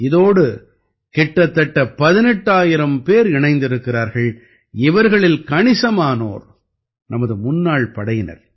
இதோடு கிட்டத்தட்ட 18000 பேர் இணைந்திருக்கிறார்கள் இவர்களில் கணிசமானோர் நமது முன்னாள் படையினர்